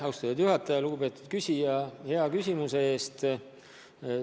Aitäh, lugupeetud küsija, hea küsimuse eest!